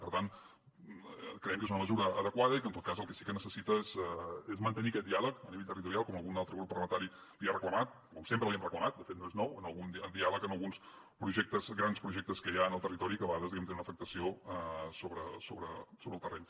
per tant creiem que és una mesura adequada i que en tot cas el que sí que necessita és mantenir aquest diàleg a nivell territorial com algun altre grup parlamentari li ha reclamat com sempre li hem reclamat de fet no és nou diàleg en alguns projectes grans projectes que hi ha en el territori que a vegades diguem ne tenen una afectació sobre el terreny